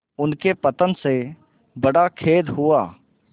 उनके पतन से बड़ा खेद हुआ